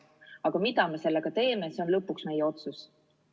Aga mida me sellega teeme, see on lõpuks meie otsus.